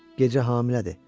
Gecə hamilədir.